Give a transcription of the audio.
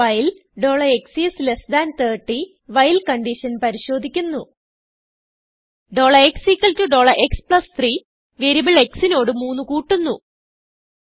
while x30 while condition പരിശോധിക്കുന്നു xx3വേരിയബിൾ x നോട് 3കൂട്ടുന്നു